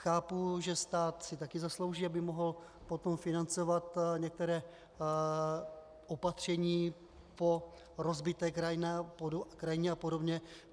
Chápu, že stát si také zaslouží, aby mohl potom financovat některá opatření po rozbité krajině a podobně.